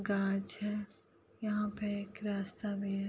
कांच है | यहां पर एक रास्ता भी है|